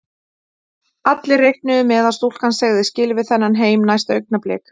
Allir reiknuðu með að stúlkan segði skilið við þennan heim næsta augnablik.